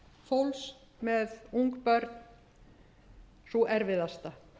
fólks með ung börn sú erfiðasta